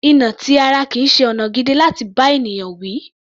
Ìnà ti ara kìí ṣe ọ̀nà gidi láti bá ènìyàn wí.